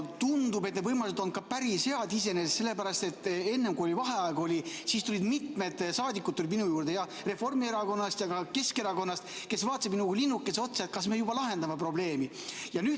Tundub, et need võimalused on iseenesest ka päris head, sest kui oli vaheaeg, siis tulid minu juurde mitmed saadikud Reformierakonnast ja ka Keskerakonnast, kes vaatasid minu kui linnukese otsa, et kas me juba lahendame probleemi.